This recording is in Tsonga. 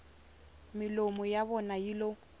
milomu ya vona yi lo